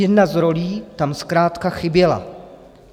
Jedna z rolí tam zkrátka chyběla.